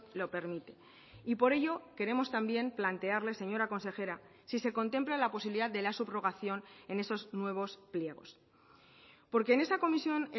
lo permite y por ello queremos también plantearle señora consejera si se contempla la posibilidad de la subrogación en esos nuevos pliegos porque en esa comisión